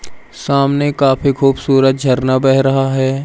सामने काफी खूबसूरत झरना बह रहा है।